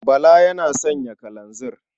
Bala yana sayan kalanzir.